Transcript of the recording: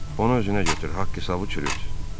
Onu özünə götür haqq-hesabı çürüt.